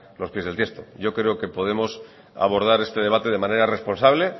los pies del tiesto yo creo que podemos abordar este debate de manera responsable